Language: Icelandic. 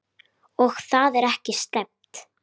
Og það er ekki slæmt.